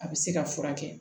A bɛ se ka furakɛ